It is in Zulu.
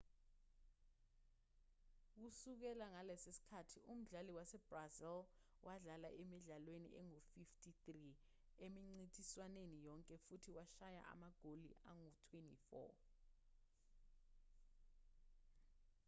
kusukela ngaleso sikhathi umdlali wasebrazil wadlala emidlalweni engu-53 emincintiswaneni yonke futhi washaya amagoli angu-24